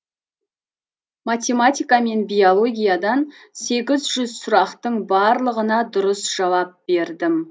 математика мен биологиядан сегіз жүз сұрақтың барлығына дұрыс жауап бердім